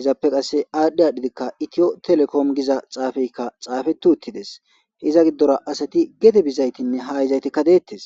izappe qasse aadhdhi adhidika itiyo telekoom giza xaafeykka xaafeti uttides iza giddora asati gede bizaytinne ha izaytikka deettes.